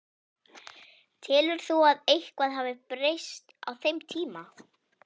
Telur þú að eitthvað hafi breyst á þeim tíma?